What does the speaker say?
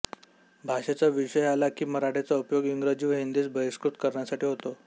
भाषेचा विषय आला की मराठीचा उपयोग इंग्रजी व हिंदीस बहिष्कृत करण्यासाठी होतो